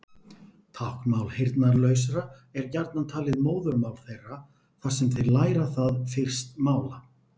Táknmál heyrnarlausra er gjarnan talið móðurmál þeirra þar sem þeir læra það fyrst mála.